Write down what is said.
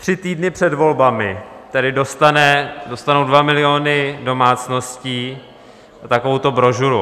Tři týdny před volbami dostanou dva miliony domácností takovouto brožuru.